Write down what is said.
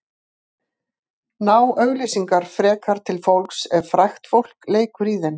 Ná auglýsingar frekar til fólks ef frægt fólk leikur í þeim?